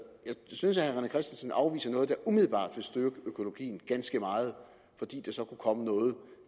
synes herre rené christensen afviser noget der umiddelbart vil styrke økologien ganske meget fordi der så kunne komme noget